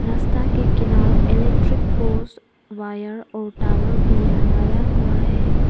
रास्ता के किनारे इलेक्ट्रिक पोल्स वायर और टावर भी लगाया हुआ है।